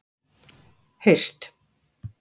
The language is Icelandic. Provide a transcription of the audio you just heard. haust